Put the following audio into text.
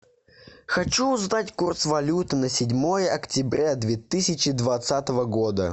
хочу узнать курс валют на седьмое октября две тысячи двадцатого года